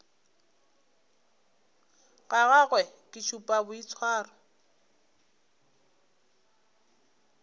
ga gagwe ke šupa boitshwaro